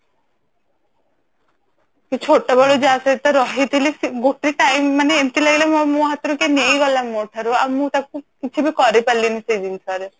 କି ଛୋଟ ବେଳୁ ଯାହା ସହିତ ରହିଥିଲି ଗୋଟେ time ମାନେ ଏମିତି ଲାଗିଲା ମୋ ହାତରୁ କିଏ ନେଇଗଲା ମୋ ଠାରୁ ଆଉ ମୁଁ ତାକୁ କିଛି ବି କରି ପାରିଲିନି ସେଇ ଜିନିଷ ରେ